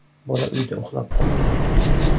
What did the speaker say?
Bola uyda uxlab qolgan.